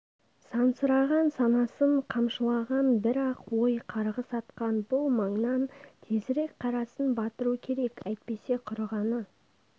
сансыраған санасын қамшылаған бір-ақ ой қарғыс атқан бұл маңнан тезірек қарасын батыру керек әйтпесе құрығаны